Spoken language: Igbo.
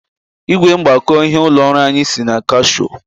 Ị́gwè mgbakọ ịhe ụlọ ọrụ anyị si na Kashio.